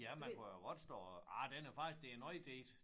Ja man kunne jo godt stå og ah den er faktisk det er noget det